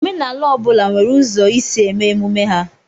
Omenala ọ bụla nwere ụzọ isi eme emume ha.